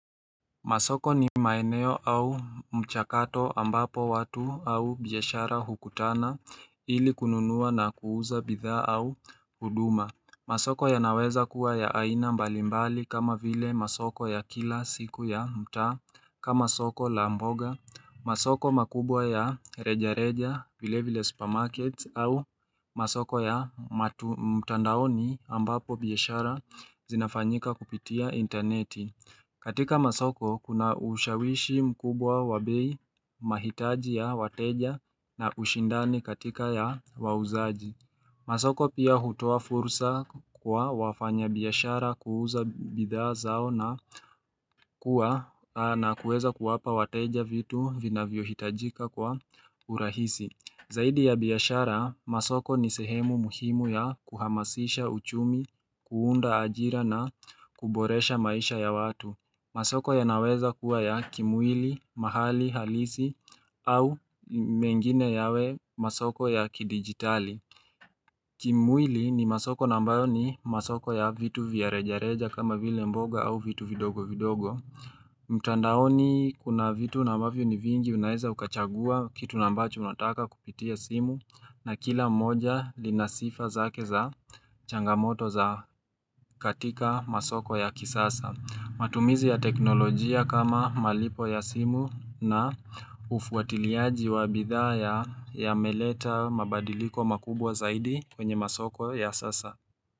Masoko ni maeneo au mchakato ambapo watu au biyashara hukutana ili kununua na kuuza bidha au huduma Masoko ya naweza kuwa ya aina mbalimbali kama vile masoko ya kila siku ya mta kama soko lamboga Masoko makubwa ya reja reja vile vile supermarkets au masoko ya matumtandaoni ambapo biyashara zinafanyika kupitia interneti katika masoko, kuna ushawishi mkubwa wa bei mahitaji ya wateja na ushindani katika ya wauzaji. Masoko pia hutoa fursa kwa wafanya biyashara kuuza bidha zao na kuwa na kueza kuwapa wateja vitu vinavyo hitajika kwa urahisi. Zaidi ya biyashara, masoko ni sehemu muhimu ya kuhamasisha uchumi, kuunda ajira na kuboresha maisha ya watu. Masoko ya naweza kuwa ya kimwili, mahali, halisi au mengine yawe masoko ya kidigitali. Kimwili ni masoko nambayo ni masoko ya vitu viarejareja kama vile mboga au vitu vidogo vidogo. Mtandaoni kuna vitu nambavyo ni vingi unaeza ukachagua kitu nambacho unataka kupitia simu na kila moja linasifa zake za changamoto za katika masoko ya kisasa. Matumizi ya teknolojia kama malipo ya simu na ufuatiliaji wa bidhaa ya meleta mabadiliko makubwa zaidi kwenye masoko ya sasa.